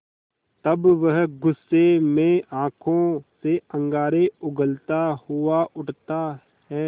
तब वह गुस्से में आँखों से अंगारे उगलता हुआ उठता है